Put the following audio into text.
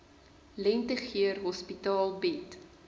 lentegeur hospitaal bied